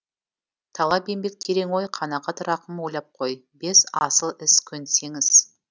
талап еңбек терең ой қанағат рақым ойлап қой бес асыл іс көнсеңіз